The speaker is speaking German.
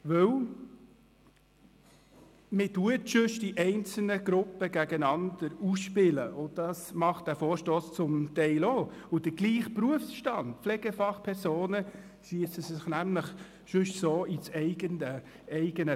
Denn sonst spielt man die einzelnen Gruppen gegeneinander aus – das tut dieser Vorstoss zum Teil auch –, und die Pflegefachpersonen desselben Berufsstands, schiessen sich sonst nämlich so ins eigene Bein.